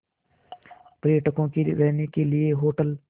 पर्यटकों के रहने के लिए होटल